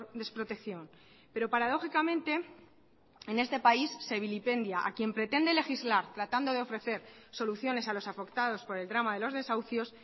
desprotección pero paradójicamente en este país se vilipendia a quien pretende legislar tratando de ofrecer soluciones a los afectados por el drama de los desahucios